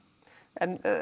en